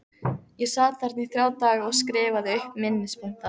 Ég sat þarna í þrjá daga og skrifaði upp minnispunkta.